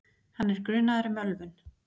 Hann er grunaður um ölvun